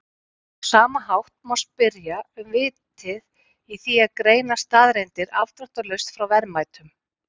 Á sama hátt má spyrja um vitið í því að greina staðreyndir afdráttarlaust frá verðmætum.